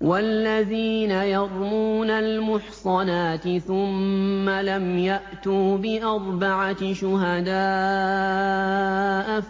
وَالَّذِينَ يَرْمُونَ الْمُحْصَنَاتِ ثُمَّ لَمْ يَأْتُوا بِأَرْبَعَةِ شُهَدَاءَ